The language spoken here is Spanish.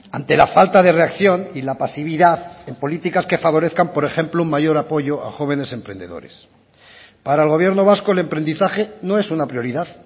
ante la falta de reacción y la pasividad en políticas que favorezcan por ejemplo un mayor apoyo a jóvenes emprendedores para el gobierno vasco el emprendizaje no es una prioridad